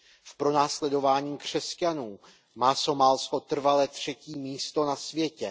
V pronásledování křesťanů má Somálsko trvale třetí místo na světě.